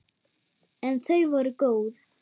En þau voru góð.